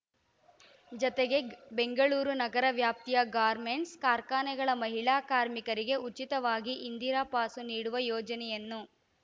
ಜತೆಗೆ ಬೆಂಗಳೂರು ನಗರ ವ್ಯಾಪ್ತಿಯ ಗಾರ್ಮೆಂಟ್ಸ್‌ ಕಾರ್ಖಾನೆಗಳ ಮಹಿಳಾ ಕಾರ್ಮಿಕರಿಗೆ ಉಚಿತವಾಗಿ ಇಂದಿರಾ ಪಾಸು ನೀಡುವ ಯೋಜನೆಯನ್ನು